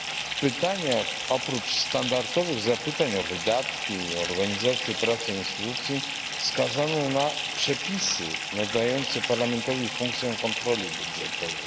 W pytaniach oprócz standardowych zapytań o wydatki i organizację pracy instytucji wskazano na przepisy nadające Parlamentowi funkcję kontroli budżetowej.